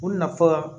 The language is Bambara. O nafa